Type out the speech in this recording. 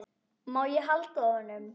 Má ég halda á honum?